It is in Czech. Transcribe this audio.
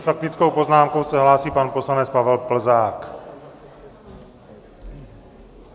S faktickou poznámkou se hlásí pan poslanec Pavel Plzák.